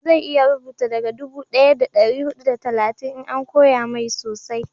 zai iya rubutu daga dubu daya da dari hudu da talatin in an koya mai sosai